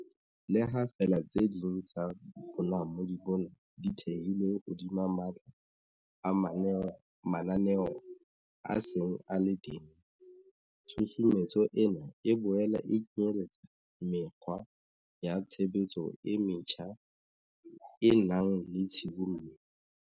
Le ha feela tse ding tsa bonamodi bona di thehilwe hodima matla a mananeo a seng a le teng, tshusumetso ena e boela e kenyeletsa mekgwa ya tshebetso e metjha e nang le tshibollo.